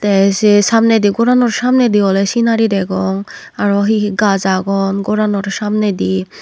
te say samnedi goranot samnedi ole sinari degong aro he he gaj agon goranor samnedi.